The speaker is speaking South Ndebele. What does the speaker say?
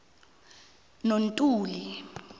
nontuli